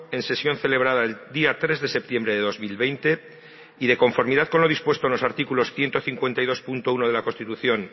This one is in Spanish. en sesión celebrada el día tres de septiembre de dos mil veinte y de conformidad con lo dispuesto en los artículos ciento cincuenta y dos punto uno de la constitución